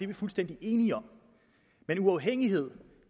vi fuldstændig enige om men uafhængighed